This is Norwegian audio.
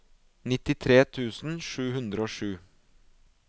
nittitre tusen sju hundre og sju